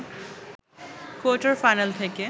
quarter-final থেকে